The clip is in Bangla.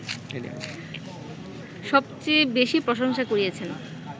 সবচেয়ে বেশি প্রশংসা কুড়িয়েছেন